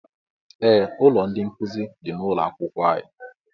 Ee ụlọ ndị nkụzi dị n'ụlọ akwụkwọ anyị